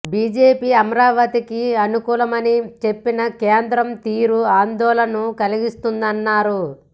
BJP అమరావతికి అనుకూలమని చెప్పినా కేంద్రం తీరు ఆందోళన కలిగిస్తుందని అన్నారు